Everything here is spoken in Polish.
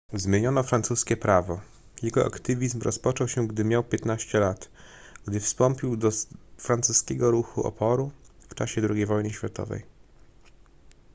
zmieniono francuskie prawo jego aktywizm rozpoczął się gdy miał 15 lat gdy wstąpił do francuskiego ruchu oporu w czasie ii wojny światowej